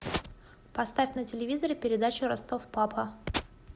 поставь на телевизоре передачу ростов папа